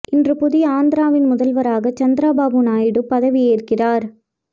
இன்று புதிய ஆந்திராவின் முதல்வராக சந்திரபாபு நாயுடு பதவியேற்கிறார்